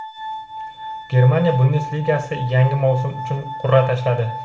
Germaniya Bundesligasi yangi mavsum uchun qur’a tashladi.